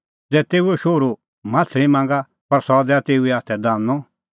ज़ै तेऊओ शोहरू माह्छ़ली मांगा पर सह दैआ तेऊए हाथै दानअ